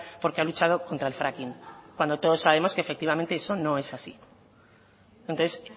porque ha luchado contra el fracking cuando todos sabemos que efectivamente eso no es así entonces